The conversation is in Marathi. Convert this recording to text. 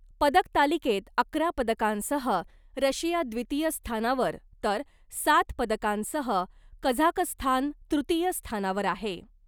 पदकतालिकेत अकरा पदकांसह रशिया द्वितिय स्थानावर , तर सात पदकांसह कझाकस्थान तृतीय स्थानावर आहे .